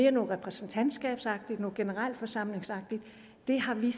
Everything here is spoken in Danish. er mere repræsentantskabsagtigt mere generalforsamlingsagtigt det har vi